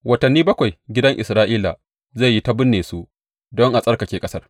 Watanni bakwai gidan Isra’ila zai yi ta binne su don a tsarkake ƙasar.